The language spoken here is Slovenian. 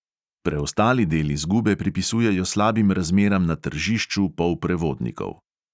Preostali del izgube pripisujejo slabim razmeram na tržišču polprevodnikov.